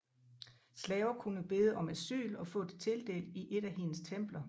Slaver kunne bede om asyl og få det tildelt i et af hendes templer